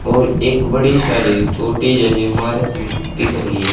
और एक बड़ी सारी छोटी जैसी इमारत दिख रही है।